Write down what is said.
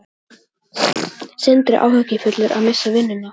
Sindri: Áhyggjufullur að missa vinnuna?